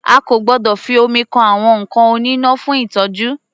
A kò gbọdọ̀ fi omi kan àwọn nǹkan oníná fún ìtọ́jú.